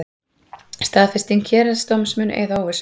Staðfesting héraðsdóms mun eyða óvissu